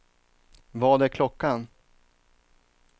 Vad är klockan